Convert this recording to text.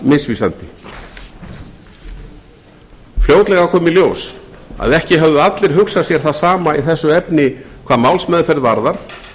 misvísandi fljótlega kom í ljós að ekki höfðu allir hugsað sér það sama í þessu efni hvað málsmeðferð varðar